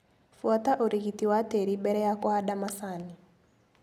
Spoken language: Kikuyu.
Buata ũrigiti wa tĩri mbere ya kũhanda macani.